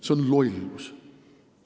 See on lollus!